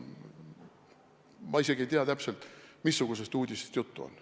Ma isegi ei tea täpselt, missugusest uudisest juttu on.